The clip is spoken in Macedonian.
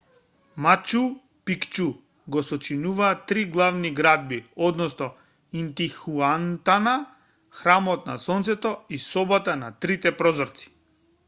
мачу пикчу го сочинуваат три главни градби односно интихуатана храмот на сонцето и собата на трите прозорци